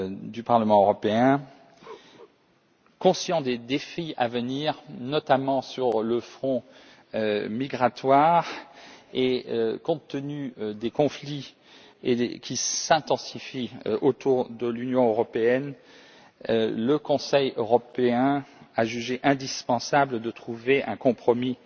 du Parlement européen, conscient des défis à venir, notamment sur le front migratoire, et compte tenu des conflits qui s'intensifient autour de l'Union européenne, le Conseil a jugé indispensable de trouver un compromis,